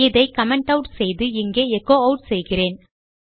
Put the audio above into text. இதை comment add செய்து இங்கே எச்சோ ஆட் செய்கிறேன்